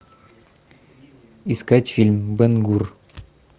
искать фильм бен гур